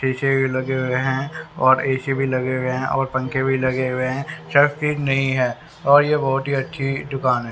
शीशे भी लगे हुए हैं और ए_सी भी लगे हुए हैं और पंखे भी लगे हुए हैं नहीं है और ये बहुत ही अच्छी दुकान है।